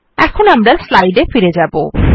এখন আমরা স্লাইড এ আবার ফিরে যাব